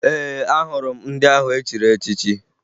Ee, ahụrụ m ndị ahụ e chiri echichi